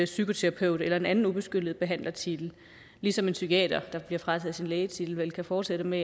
psykoterapeut eller en anden ubeskyttet behandlertitel ligesom en psykiater der bliver frataget sin lægetitel vel kan fortsætte med